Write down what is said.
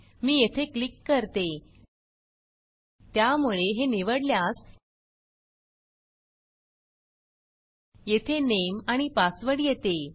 मी येथे क्लिक करते त्यामुळे हे निवडल्यास येथे नेम आणि पासवर्ड येते